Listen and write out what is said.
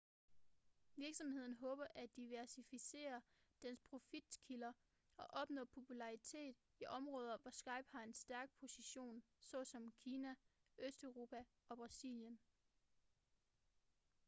virksomheden håber at diversificere dens profitkilder og opnå popularitet i områder hvor skype har en stærk position såsom kina østeuropa og brasilien